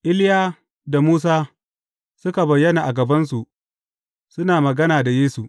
Iliya da Musa suka bayyana a gabansu, suna magana da Yesu.